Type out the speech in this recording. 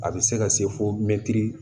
A bɛ se ka se fo mɛtiri